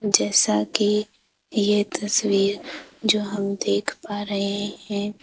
जैसा कि ये तस्वीर जो हम देख पा रहे हैं।